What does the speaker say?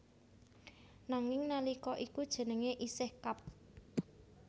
Nanging nalika iku jenenge isih Kab